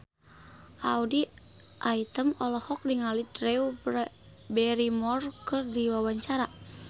Audy Item olohok ningali Drew Barrymore keur diwawancara